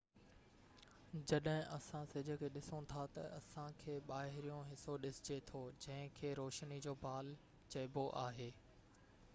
جڏهن اسان سج کي ڏسون ٿا تہ اسان کي ٻاهريون حصو ڏسجي ٿو جنهن کي روشني جو بال چئبو آهي